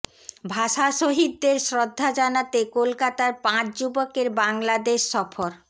ভাষা শহীদদের শ্রদ্ধা জানাতে কলকাতার পাঁচ যুবকের বাংলাদেশ সফর